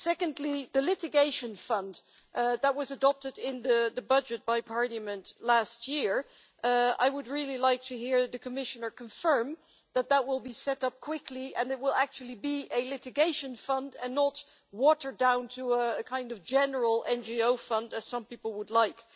Secondly, regarding the litigation fund that was adopted in the budget by Parliament last year, I would really like to hear the Commissioner confirm that it will be set up quickly and that it will actually be a litigation fund and not watered down to a kind of general NGO fund, as some people would like.